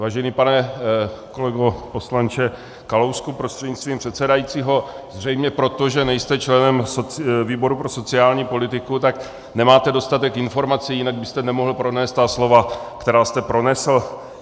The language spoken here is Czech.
Vážený pane kolego poslanče Kalousku prostřednictvím předsedajícího, zřejmě proto, že nejste členem výboru pro sociální politiku, tak nemáte dostatek informací, jinak byste nemohl pronést ta slova, která jste pronesl.